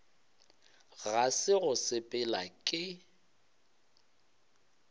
ga se go sepela ke